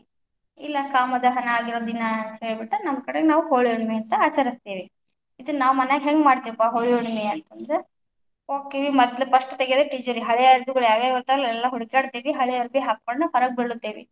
ಇಲ್ಲ ಕಾಮ ದಹನ ಆಗಿರೋ ದಿನ ಅಂತ ಹೇಳ್ಬಿಟ್ಟ ನಮ್ ಕಡೆ ನಾವು ಹೋಳಿ ಹುಣ್ಣಿಮೆ ಅಂತ ಆಚರಸ್ತೇವಿ, ಇದನ್ನಾ ಮನ್ಯಾಗ ಹೆಂಗ್ ಮಾಡ್ತಿವಪ್ಪ, ಹೋಳಿ ಹುಣ್ಣಿಮೆ ಅಂತಂದ್ರ‌, ಹೋಕ್ಕಿವಿ ಮದ್ಲ first ತೆಗೆಯೋದ್ ತಿಜೋರಿ ಹಳೆ ಅರಬಿಗಳು ಯಾವ್ಯಾವ ಇರ್ತಾವಲ್ಲಾ ಎಲ್ಲಾ ಹುಡುಕ್ಯಾಡ್ತೀವಿ ಹಳೆ ಅರಬಿ ಹಾಕ್ಕೊಂಡ ಹೊರಗ ಬೀಳ್ತೇವಿ.